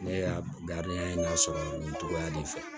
Ne da ye lasɔrɔ nin togoya de fɛ